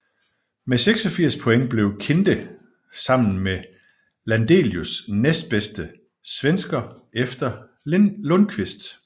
Med 86 point blev Kinde sammen med Landelius næstbedste svensker efter Lundquist